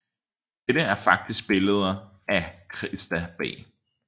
Dette er faktisk billeder af Christa B